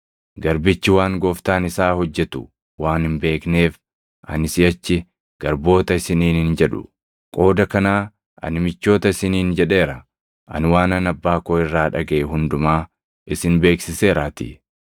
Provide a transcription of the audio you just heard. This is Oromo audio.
Garbichi waan gooftaan isaa hojjetu waan hin beekneef, ani siʼachi garboota isiniin hin jedhu. Qooda kanaa ani michoota isiniin jedheera; ani waanan Abbaa koo irraa dhagaʼe hundumaa isin beeksiseeraatii.